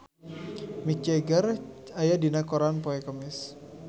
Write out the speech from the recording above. Mick Jagger aya dina koran poe Kemis